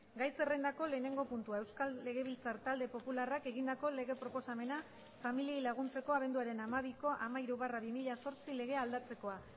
gai zerrendako lehenengo puntua euskal legebiltzar talde popularrak egindako lege proposamena familiei laguntzeko abenduaren hamabiko hamairu barra bi mila zortzi legea aldatzekoa